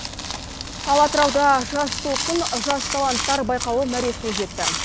ал атырауда жас толқын жас таланттар байқауы мәресіне жетті